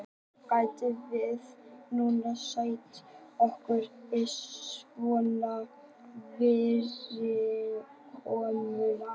gætum við nútímafólk sætt okkur við svona fyrirkomulag